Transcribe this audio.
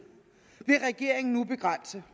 vil regeringen nu begrænse